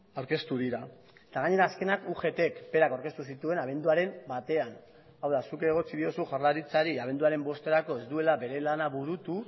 aurkeztu dira eta gainera azkenak ugtk berak aurkeztu zituen abenduaren batean hau da zuk egotzi diozu jaurlaritzari abenduaren bosterako ez duela bere lana burutu